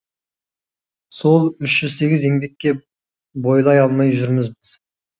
сол үш жүз сегіз еңбекке бойлай алмай жүрміз біз